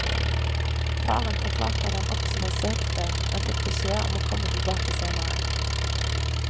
Faren forklarte at han også forsøkte, men fikk beskjed om å komme tilbake senere.